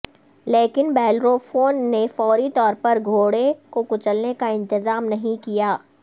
لیکن بیلروفون نے فوری طور پر گھوڑے کو کچلنے کا انتظام نہیں کیا